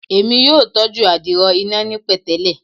Emi yoo tọju adiro ina ni petele